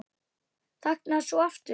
Þagnar svo aftur.